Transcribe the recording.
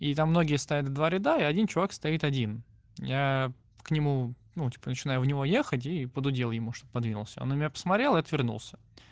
и там многие стоят в два ряда и один чувак стоит один я к нему ну типа начинаю в него ехать и подудел ему чтоб подвинулся он на меня посмотрел и отвернулся